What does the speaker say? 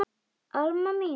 Alma mín.